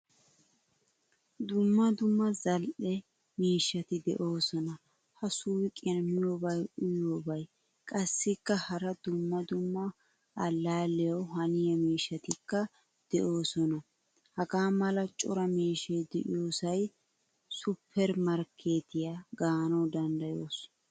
Dumma dumma zal'e miishshati deosona. Ha suuqiyan miyobay uyiyobay qassikka hara dumma dumma allaliyawu haniya miishshatikka deosona. Hagaa mala cora miishshay deiyosay supper markkettiyaa gaanawu danddayoos.